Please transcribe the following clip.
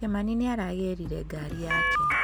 Kimani nĩ aragĩrire ngaari yake.